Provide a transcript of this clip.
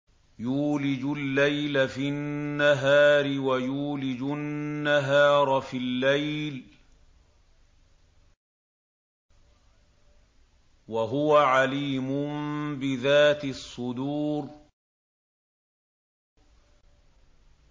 يُولِجُ اللَّيْلَ فِي النَّهَارِ وَيُولِجُ النَّهَارَ فِي اللَّيْلِ ۚ وَهُوَ عَلِيمٌ بِذَاتِ الصُّدُورِ